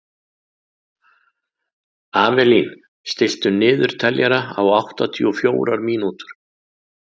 Avelín, stilltu niðurteljara á áttatíu og fjórar mínútur.